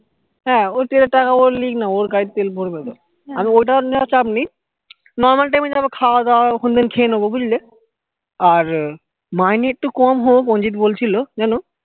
হ্যা ওর তেলের টাকা ও লিক না ওর গাড়ি তে তেল ভরবে তো আমি ওই টাকা টা নিয়ে চাপ নেই normal time এ যাবো খাওয়া দাওয়া আমি ওখান থেকে খেয়ে নেবো বুঝলে আর মাইনে একটু কম হোক অঞ্চিত বলছিলো জানো